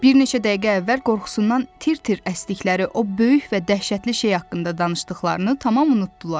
Bir neçə dəqiqə əvvəl qorxusundan tir-tir əsdikləri o böyük və dəhşətli şey haqqında danışdıqlarını tamam unutdular.